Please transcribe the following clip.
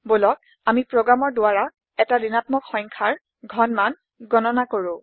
বলক আমি প্ৰোগ্ৰামৰ দ্বাৰা ১টা ৰ্ৰ্ণাত্মক সংখ্যাৰ ঘনমান গণনা কৰো